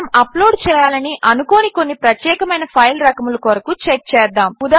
మనము అప్లోడ్ చేయాలని అనుకోని కొన్ని ప్రత్యేకమైన ఫైల్ రకముల కొరకు చెక్ చేద్దాము